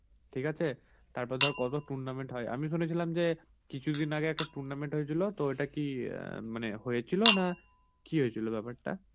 ঠিক আছে? তারপর ধর কত tournament হয়. আমি শুনেছিলাম যে কিছুদিন আগে একটা tournament হয়েছিল. তো ওটা কি অ্যাঁ মানে হয়েছিল না কি হয়েছিল ব্যাপারটা?